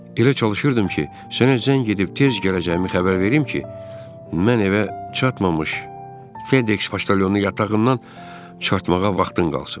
Elə çalışırdım ki, sənə zəng edib tez gələcəyimi xəbər verim ki, mən evə çatmamış Fedex poçtalyonu yatağından çıxartmağa vaxtın qalsın.